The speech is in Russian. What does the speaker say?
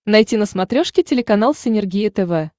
найти на смотрешке телеканал синергия тв